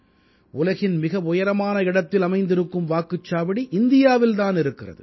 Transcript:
உலகின் மிக உயரமான இடத்தில் அமைந்திருக்கும் வாக்குச்சாவடி இந்தியாவில் தான் அமைந்திருக்கிறது